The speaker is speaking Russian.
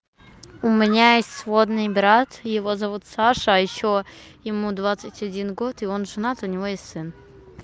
у меня есть сводный брат его зовут саша а ещё ему двадцать один год и он женат у него есть сын